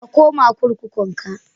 Ka koma kurkukunkun ka.